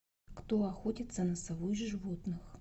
кто охотится на сову из животных